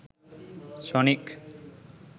sonic